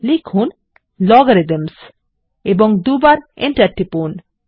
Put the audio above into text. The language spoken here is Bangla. লিখুন Logarithms এবং দুইবার এন্টার টিপুন